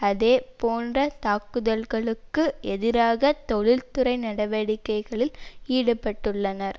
அதே போன்ற தாக்குதல்களுக்கு எதிராக தொழில்துறை நடவடிக்கைகளில் ஈடுபட்டுள்ளனர்